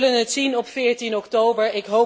We zullen het zien op 14 oktober